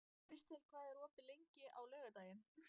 Kristel, hvað er opið lengi á laugardaginn?